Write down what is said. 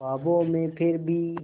ख्वाबों में फिर भी